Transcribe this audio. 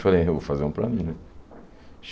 Falei, eu vou fazer um para mim, né?